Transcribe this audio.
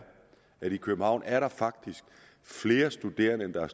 i københavn er der faktisk flere studerende end der er